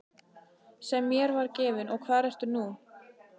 Sem mér var gefinn og hvar ertu nú.